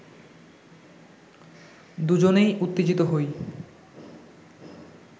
দুজনেই উত্তেজিত হই